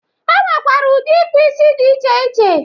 E nwekwere ụdị ịkpụisi dị iche iche.